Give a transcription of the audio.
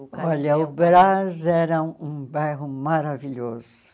Olha, o Brás era um bairro maravilhoso.